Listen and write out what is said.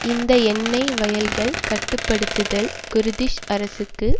இந்த எண்ணெய் வயல்களை கட்டு படுத்துதல் குர்திஷ் அரசுக்கு